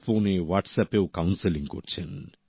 ফোনে হোয়াটসঅ্যাপেও কাউন্সেলিং করছেন